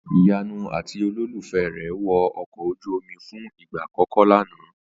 Ìyanu àti olólùfẹ́ rè wo ọkọ̀ ojú omi fún ìgbà àkọ́kọ́ lánàá